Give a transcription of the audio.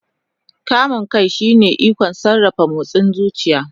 Kamun kai shine ikon sarrafa motsin zuciya.